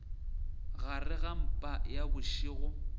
gare ga mpa ya bošego